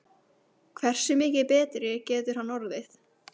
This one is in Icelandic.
Hversu mikið betri getur hann orðið?